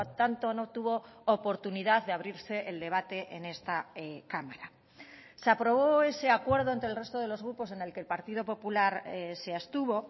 tanto no tuvo oportunidad de abrirse el debate en esta cámara se aprobó ese acuerdo entre el resto de los grupos en el que el partido popular se abstuvo